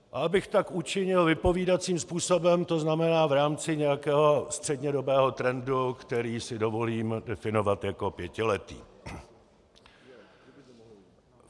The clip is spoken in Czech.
A abych tak učinil vypovídajícím způsobem, to znamená v rámci nějakého střednědobého trendu, který si dovolím definovat jako pětiletý.